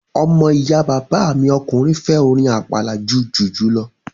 Ọmọ ìyá bàbá mi ọkùnrin fẹ́ orin àpàlà ju jùjú lọ